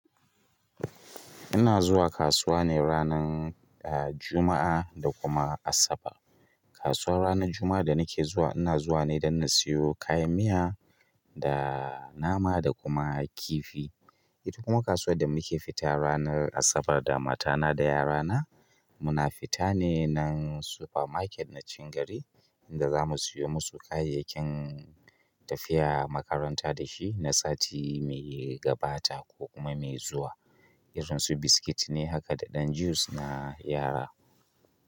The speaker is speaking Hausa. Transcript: Ina zuwa kasuwa ne ranar, ah, Juma'a da kuma Asabar. Kasuwar ranar Juma'a da nake zuwa, ina zuwa ne don in siyo kayan miya da nama da kuma kifi. Kuma kasuwar da muke fita ranar Asabar da matana da yarana, muna fita ne nan super market na cikin gari da za mu siyo musu kayayyakin tafiya makaranta dashi na sati mai gabata ko kuma mai zuwa irin su biskit ne haka da ɗan juice na yara.